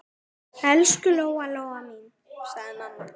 Elsku Lóa-Lóa mín, sagði mamma.